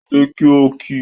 Dìde kí o kí!